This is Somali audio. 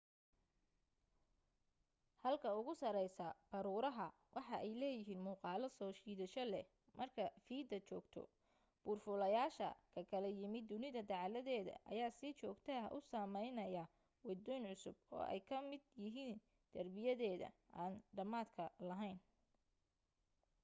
halka ugu sareysta baruuraha waxa ay leeyihiin muuqaalo soo jiidasho leh marka fiida joogto buur fuulayasha kakala yimid dunida dacaladeeda ayaa si joogta ah u sameynaya wadooyin cusub oo ay ka mid yihiin darbiyadeeda aan dhamaadka laheyn